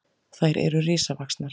Þær eru risavaxnar!